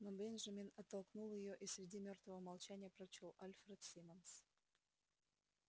но бенджамин оттолкнул её и среди мёртвого молчания прочёл альфред симмонс